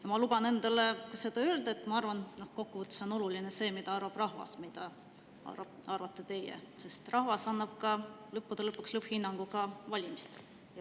Ja ma luban endal öelda, et ma arvan, et kokkuvõttes on oluline see, mida arvab rahvas, mitte see, mida arvate teie, sest rahvas annab lõppude lõpuks lõpphinnangu valimistel.